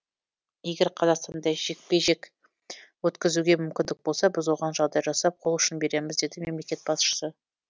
егер қазақстанда жекпе жек өткізуге мүмкіндік болса біз оған жағдай жасап қол ұшын береміз деді мемлекет басшысы